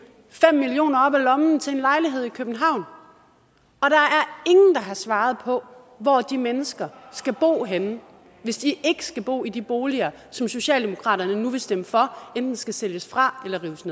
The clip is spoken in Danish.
fem million kroner op af lommen til en lejlighed i københavn og har svaret på hvor de mennesker skal bo henne hvis de ikke skal bo i de boliger som socialdemokratiet nu vil stemme for enten skal sælges fra eller rives